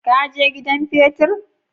Ka je gidan petir?